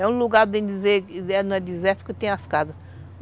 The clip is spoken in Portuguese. É um lugar, não é desértico, que tem as casas.